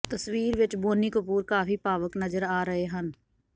ਤਸਵੀਰ ਵਿੱਚ ਬੋਨੀ ਕਪੂਰ ਕਾਫ਼ੀ ਭਾਵੁਕ ਨਜ਼ਰ ਆ ਰਹੇ ਹਨ